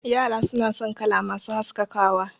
Yara suna son kala masu haskakawa